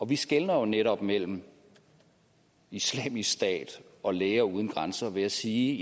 vi skelner jo netop mellem islamisk stat og læger uden grænser ved at sige